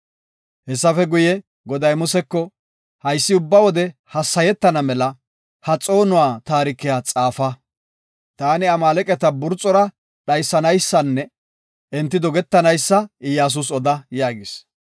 Hessafe guye, Goday Museko, “Haysi ubba wode hassayetana mela ha xoonuwa taarikiya xaafa. Taani Amaaleqata burxora dhaysanaysanne enti dogetanaysa Iyyasus oda” yaagis.